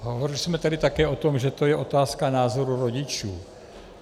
Hovořili jsme tady také o tom, že to je otázka názoru rodičů.